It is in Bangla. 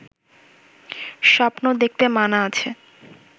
স্বপ্ন দেখতে মানা আছে!